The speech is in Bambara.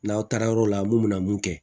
N'aw taara yɔrɔ la mun bɛna mun kɛ